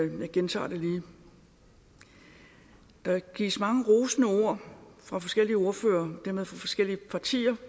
jeg gentager det lige der gives mange rosende ord fra forskellige ordførere og dermed fra forskellige partier